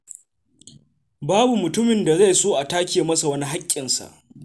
Babu mutumin da zai so a take masa wani haƙƙinsa.